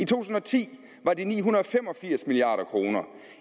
tusind og ti var de ni hundrede og fem og firs milliard kroner